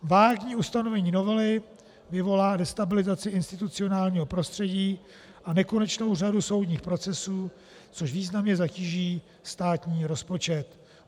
Vágní ustanovení novely vyvolá destabilizaci institucionálního prostředí a nekonečnou řadu soudních procesů, což významně zatíží státní rozpočet.